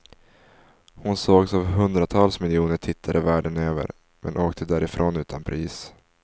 Hon sågs av hundratals miljoner tittare världen över, men åkte därifrån utan pris.